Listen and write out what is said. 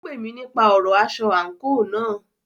Ó pè mí nípa ọ̀rọ aṣọ àńkò náà.